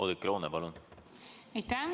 Oudekki Loone, palun!